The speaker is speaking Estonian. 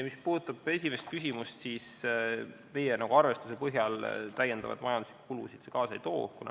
Mis puudutab esimest küsimust, siis meie arvestuse põhjal majanduslikke lisakulutusi see kaasa ei too.